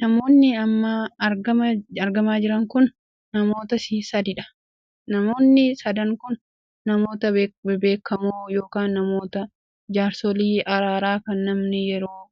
Namoonni amma argamaa jiran kun namoota sadiidha. namoonni sadan kun namoota bebbeekamoo ykn namoota jaarsolii araaraa kan namni yeroo